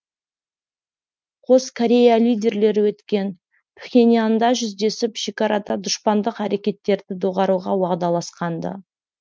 қос корея лидерлері өткен пхеньянда жүздесіп шекарада дұшпандық әрекеттерді доғаруға уағдаласқан ды